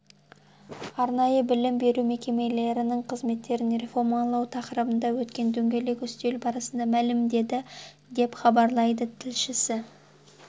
арнайы білім беру мекемелерінің қызметтерін реформалау тақырыбында өткен дөңгелек үстел барысында мәлімдеді деп хабарлайды тілшісі